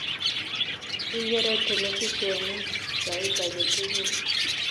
Igeere telefishionit sait age tugul